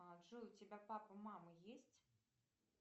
а джой у тебя папа мама есть